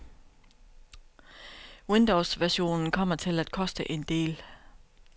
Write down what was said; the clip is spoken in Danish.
Windowsversionen kommer til at koste en del.